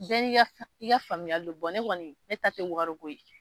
Bɛɛ ni ka faamuyali don ne kɔni ne taa tɛ wari ko ye.